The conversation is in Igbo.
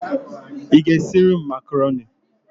Ị ga-esiri m makaroni?